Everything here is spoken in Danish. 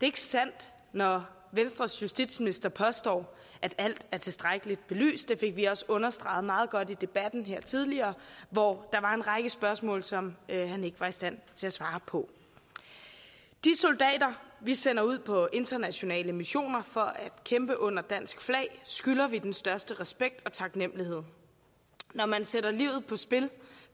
ikke sandt når venstres justitsminister påstår at alt er tilstrækkeligt belyst det fik vi også understreget meget godt i debatten her tidligere hvor der var en række spørgsmål som han ikke var i stand til at svare på de soldater vi sender ud på internationale missioner for at kæmpe under dansk flag skylder vi den største respekt og taknemmelighed når man sætter livet på spil